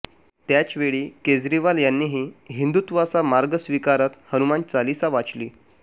त्याचवेळी केजरीवाल यांनीही हिंदुत्वाचा मार्ग स्वीकारत हनुमान चालीसा वाचली